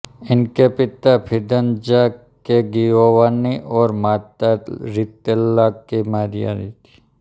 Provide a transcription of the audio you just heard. इनके पिता फिदंज़ा के गिओवान्नी और माता रितेल्ला की मारिया थी